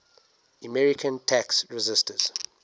american tax resisters